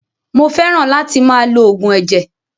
Mó fẹràn láti máa lo oògùn ẹ̀jẹ̀.